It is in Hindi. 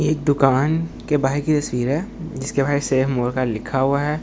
एक दुकान के बाहर की तस्वीर है जिसके बाहर सेव मोर का लिखा हुआ है और ।